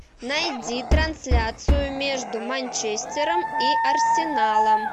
найди трансляцию между манчестером и арсеналом